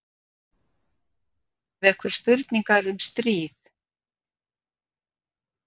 Vekur spurningar um stríðið